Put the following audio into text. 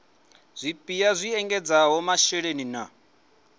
zwipia zwi ekedzaho masheleni na